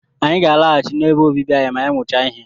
Anyị ga-alaghachi n'ebe obibi anyị ma a mụchaa ihe.